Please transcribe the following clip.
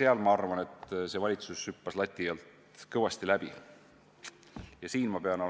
Ma arvan, et selles osas valitsus hüppas lati alt läbi, ja ma pean